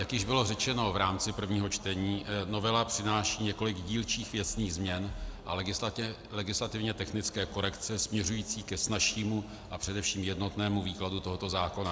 Jak již bylo řečeno v rámci prvního čtení, novela přináší několik dílčích věcných změn a legislativně technické korekce směřující ke snazšímu a především jednotnému výkladu tohoto zákona.